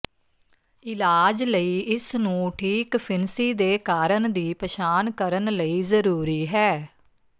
ਇਲਾਜ ਲਈ ਇਸ ਨੂੰ ਠੀਕ ਫਿਣਸੀ ਦੇ ਕਾਰਨ ਦੀ ਪਛਾਣ ਕਰਨ ਲਈ ਜ਼ਰੂਰੀ ਹੈ